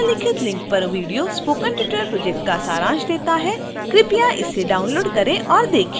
निम्नलिखित link पर video spoken tutorial project का सारांश देता है